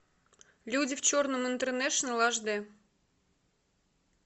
люди в черном интернешнл аш д